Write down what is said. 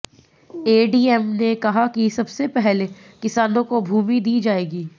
ADM ने कहा कि सबसे पहले किसानों को भूमि दी जाएगी